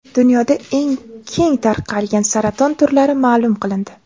Dunyoda eng keng tarqalgan saraton turlari ma’lum qilindi.